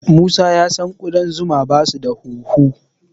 Musa ya san ƙudan zuma basu da hunhu.